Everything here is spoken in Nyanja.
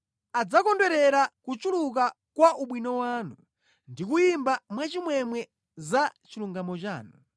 Adzakondwerera kuchuluka kwa ubwino wanu, ndi kuyimba mwachimwemwe za chilungamo chanu.